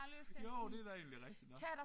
Jo det er da egentlig rigtigt nok